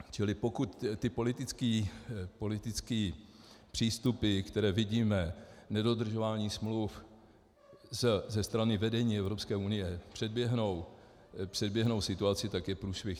Čili pokud ty politické přístupy, které vidíme, nedodržování smluv ze strany vedení Evropské unie, předběhnou situaci, tak je průšvih.